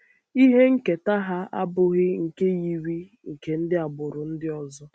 Ihe nketa ha abụghị nke yiri nke yiri nke ndị agbụrụ ndị ọzọ.